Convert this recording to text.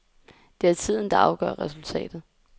Det er tiden, der afgør resultatet.